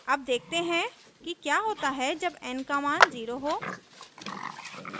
अब देखते हैं कि क्या होता है जब n का मान 0 हो